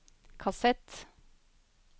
kassett